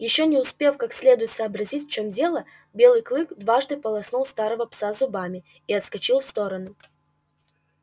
ещё не успев как следует сообразить в чем дело белый клык дважды полоснул старого пса зубами и отскочил в сторону